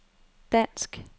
dansk